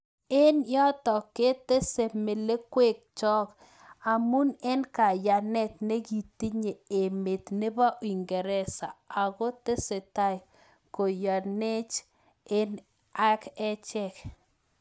Eng yotok ketesee melekwek chook amuu eng kayaneet nekitinyee emeet nepoo uingeresa Ako tesetai koyaneech ag acheek